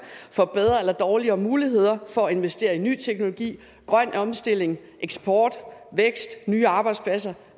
får bedre eller dårligere muligheder for at investere i ny teknologi grøn omstilling eksport vækst nye arbejdspladser